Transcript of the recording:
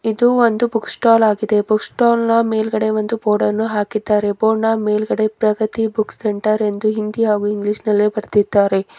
ಇದು ಒಂದು book stall ಆಗಿದೆ ಬುಕ್ಸ್ಟಾಲ್ನ ಮೇಲ್ಗಡೆ ಒಂದು ಬೋರ್ಡನ್ನು ಹಾಕಿದ್ದಾರೆ ಬೋರ್ಡ್ನ ಮೇಲ್ಗಡೆ ಪ್ರಗತಿ ಬುಕ್ ಸೆಂಟರ್ ಎಂದು ಹಿಂದಿ ಹಾಗು ಇಂಗ್ಲೀಷ್ನಲ್ಲಿ ಬರೆದಿದ್ದಾರೆ.